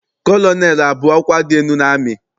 Kọlọnelụ abụ ọkwa dị elu n'amị?